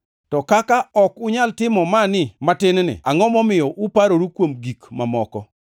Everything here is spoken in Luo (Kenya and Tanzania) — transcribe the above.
To kaka ok unyal timo mani matin-ni, angʼo momiyo uparoru kuom gik mamoko?